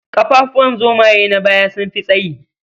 Ƙafafuwan zomaye na baya sun fi tsayi.